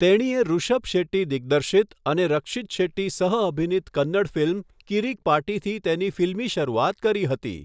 તેણીએ ઋષભ શેટ્ટી દિગ્દર્શિત અને રક્ષિત શેટ્ટી સહઅભિનીત કન્નડ ફિલ્મ 'કિરિક પાર્ટી'થી તેની ફિલ્મી શરૂઆત કરી હતી.